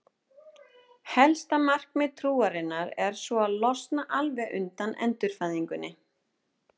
Helsta markmiðið trúarinnar er svo að losna alveg undan endurfæðingunni.